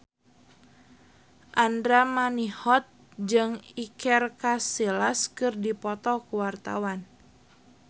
Andra Manihot jeung Iker Casillas keur dipoto ku wartawan